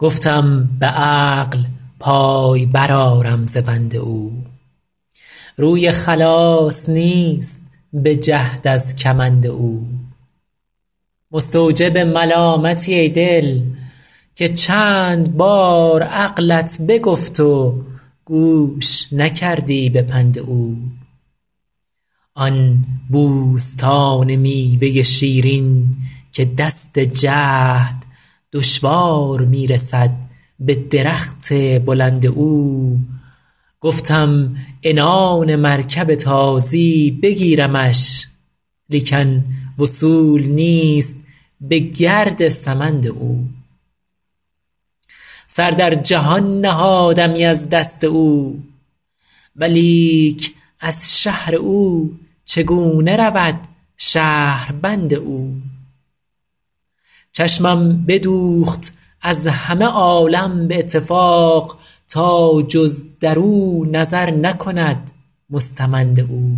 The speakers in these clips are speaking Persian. گفتم به عقل پای برآرم ز بند او روی خلاص نیست به جهد از کمند او مستوجب ملامتی ای دل که چند بار عقلت بگفت و گوش نکردی به پند او آن بوستان میوه شیرین که دست جهد دشوار می رسد به درخت بلند او گفتم عنان مرکب تازی بگیرمش لیکن وصول نیست به گرد سمند او سر در جهان نهادمی از دست او ولیک از شهر او چگونه رود شهربند او چشمم بدوخت از همه عالم به اتفاق تا جز در او نظر نکند مستمند او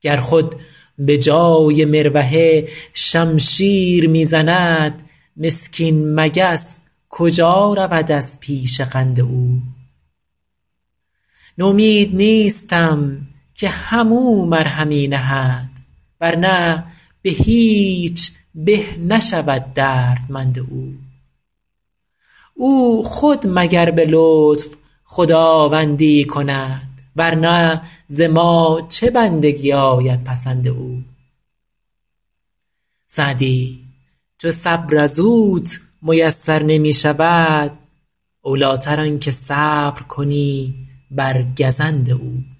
گر خود به جای مروحه شمشیر می زند مسکین مگس کجا رود از پیش قند او نومید نیستم که هم او مرهمی نهد ور نه به هیچ به نشود دردمند او او خود مگر به لطف خداوندی ای کند ور نه ز ما چه بندگی آید پسند او سعدی چو صبر از اوت میسر نمی شود اولی تر آن که صبر کنی بر گزند او